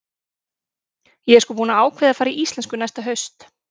Ég er sko búin að ákveða að fara í íslensku næsta haust.